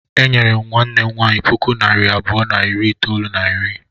E nyere nwanne m nwaanyị puku naịra abụọ na narị itoolu na iri.